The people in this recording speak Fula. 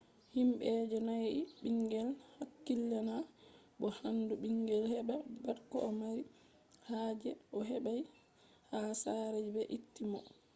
himbe je danyai bingel hakkilina mo handi bingel heba pat ko o mari haje je o hebai ha sare je be itti mo